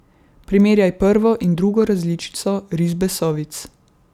Primerjaj prvo in drugo različico risbe sovic.